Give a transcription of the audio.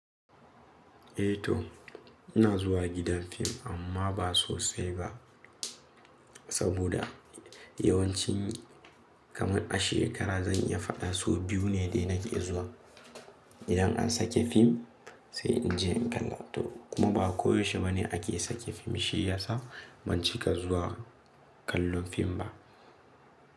Eh to ina zuwa gidan fim amma ba sosai ba. Saboda yawancin kaman a shekara zan iya faɗa sau biyu ne dai nake iya zuwa. Idan an sake fim sai in je in kalla. Kuma ba koyaushe ba ne ake sake fim, shi yasa ban cika zuwa kallon fim ba.